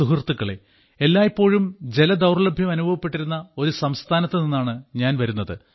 സുഹൃത്തുക്കളേ എല്ലായ്പ്പോഴും ജലദൌർലഭ്യം അനുഭവപ്പെട്ടിരുന്ന ഒരു സംസ്ഥാനത്തുനിന്നാണ് ഞാൻ വരുന്നത്